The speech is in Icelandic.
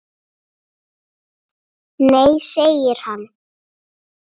Nei segir hann.